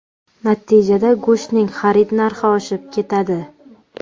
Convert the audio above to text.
Natijada go‘shtning xarid narxi oshib ketadi.